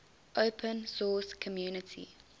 open source community